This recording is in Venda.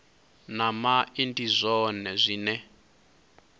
na mai ndi zwone zwine